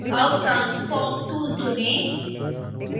अब transform tool चुनें